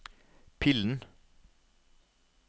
pillen